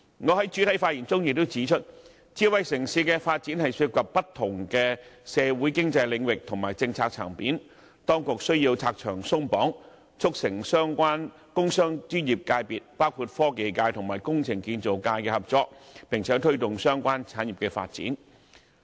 我在開首發言中也指出，智慧城市的發展涉及不同社會經濟領域和政策層面，當局需要拆牆鬆綁，促成相關工商專業界別，包括科技界和工程建造界的合作，並且推動相關產業發展。